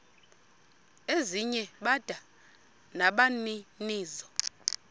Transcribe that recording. ezinye bada nabaninizo